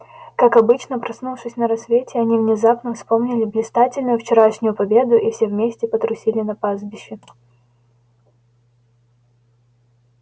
как обычно проснувшись на рассвете они внезапно вспомнили блистательную вчерашнюю победу и все вместе потрусили на пастбище